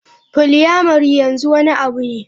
Polyamoury yanzu wani abu ne.